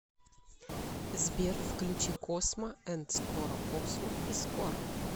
сбер включи космо энд скоро космо и скоро